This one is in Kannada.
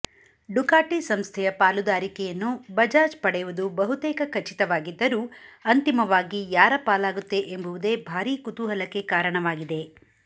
ಡುಕಾಟಿ ಸಂಸ್ಥೆಯ ಪಾಲುದಾರಿಕೆಯನ್ನು ಬಜಾಜ್ ಪಡೆಯುವುದು ಬಹುತೇಕ ಖಚಿತವಾಗಿದ್ದರೂ ಅಂತಿಮವಾಗಿ ಯಾರ ಪಾಲಾಗುತ್ತೆ ಎಂಬುವುದೇ ಭಾರೀ ಕುತೂಹಲಕ್ಕೆ ಕಾರಣವಾಗಿದೆ